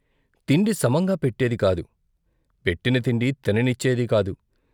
తిండి సమంగా పెట్టేది కాదు, పెట్టిన తిండి తిననిచ్చేది కాదు.